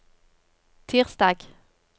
tirsdag